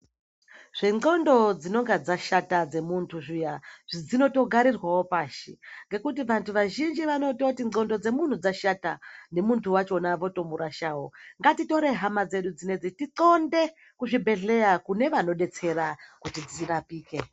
Zvendxondo dzinenge dzashata dzemuntu zviya dzinotogarirwawo pashi ngekuti vantu vazhinji vanototi ndxondo dzemuntu dzashata nemuntu wakhona votomurashawo, ngatitore hama dzedu dzinedzi tixonde kuzvibhedhleya kune vanodetsera kuti dzirapike.